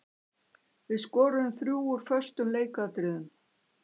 Við skoruðum þrjú úr föstum leikatriðum.